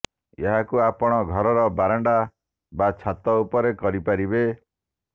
ଏହାକୁ ଆପଣ ଘରର ବାରଣ୍ଡା ବା ଛାତ ଉପରେ କରି ପାରିବେ